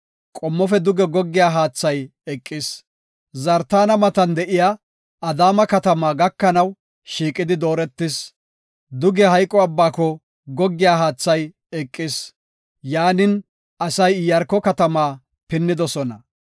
qommofe duge goggiya haathay eqis. Zartaana matan de7iya Adaama katama gakanaw shiiqidi dooretis. Duge Hayqo abbaako goggiya haathay eqis. Yaanin, asay Iyaarko katama pinnidosona.